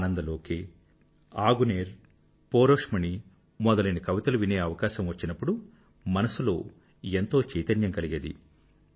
ఆనంద లోకే ఆగునేర్ పోరోష్మణి మొదలైన కవితలు వినే అవకాశం వచ్చినప్పుడు మనసులో ఎంతో చైతన్యం కలిగేది